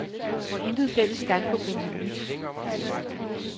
Hvor intet fælles standpunkt er muligt. punktum